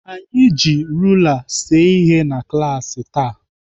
Anyị ji rula see ihe na klaasị taa.